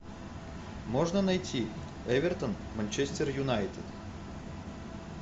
можно найти эвертон манчестер юнайтед